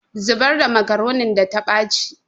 Zubar da makaronin da ta ɓaci